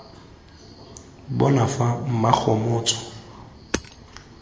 bona fa mmakgomotso ga ke